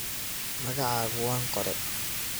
Magacaku wanqore.